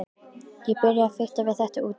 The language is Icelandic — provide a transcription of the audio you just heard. Ég byrjaði að fikta við þetta úti.